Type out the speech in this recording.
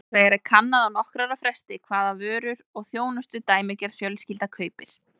Annars vegar er kannað á nokkurra ára fresti hvaða vörur og þjónustu dæmigerð fjölskylda kaupir.